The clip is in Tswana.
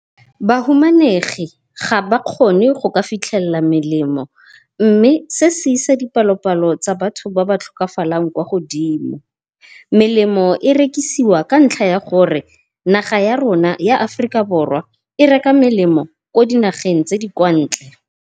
Bahumanegi ga ba kgone go ka fitlhella melemo mme se se isa dipalopalo tsa batho ba ba tlhokafalang kwa godimo. Melemo e rekisiwa ka ntlha ya gore naga ya rona ya Aforika Borwa e reka melemo ko dinageng tse di kwa ntle.